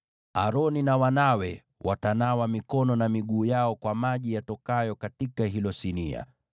Aroni na wanawe watanawa mikono na miguu yao kwa maji yatokayo katika hilo sinia.